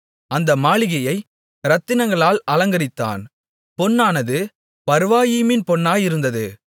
அந்த மாளிகையை இரத்தினங்களால் அலங்கரித்தான் பொன்னானது பர்வாயீமின் பொன்னாயிருந்தது